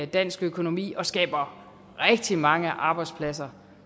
dansk økonomi og skaber rigtig mange arbejdspladser